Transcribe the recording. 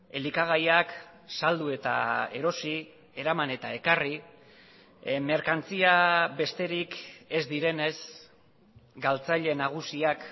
elikagaiak saldu eta erosi eraman eta ekarri merkantzia besterik ez direnez galtzaile nagusiak